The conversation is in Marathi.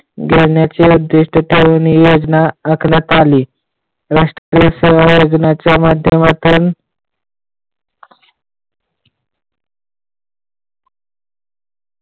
उद्दिष्ट ठेऊन ही योजना आखण्यात आली. राष्ट्रीय सेवा योजणाच्या माध्यमातून